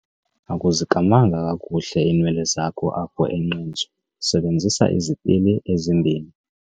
Akuzikamanga kakuhle iinwele zakho apho enqentsu, sebenzisa izipili ezimbini.